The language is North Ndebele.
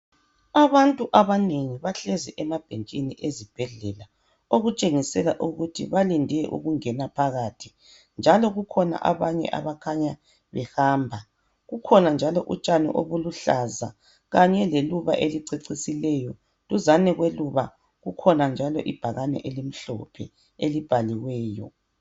Abantu abanengi bahlezi emabhentshini ezibhedlela okutshengisela ukuthi balinde ukungena phakathi njalo kukhona abanye abakhanya behamba. Kukhona utshani obuluhlaza kanye leluba elicecisileyo duzane kweluba kukhona njalo ibhakane elimhlophe elibhaliweyo.